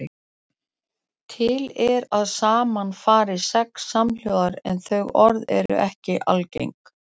Til er að saman fari sex samhljóðar en þau orð eru ekki algeng.